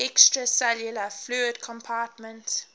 extracellular fluid compartment